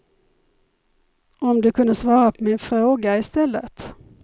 Om du kunde svara på min fråga i stället.